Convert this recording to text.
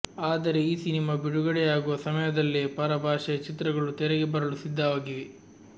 ಆದರೆ ಈ ಸಿನಿಮಾ ಬಿಡುಗಡೆಯಾಗುವ ಸಮಯದಲ್ಲೆ ಪರ ಭಾಷೆಯ ಚಿತ್ರಗಳು ತೆರೆಗೆ ಬರಲು ಸಿದ್ಧವಾಗಿವೆ